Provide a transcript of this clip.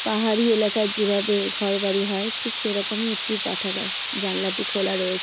পাহাড়ি এলাকায় যেভাবে ঘরবাড়ি হয় ঠিক সেরকমই একটি পাঠাগার জানলাটি খোলা রয়েছে।